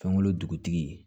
Fɛnkolo dugutigi